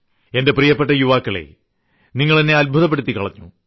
എന്റെ പ്രിയ യുവാക്കളേ നിങ്ങൾ എന്നെ അത്ഭുതപ്പെടുത്തിക്കളഞ്ഞു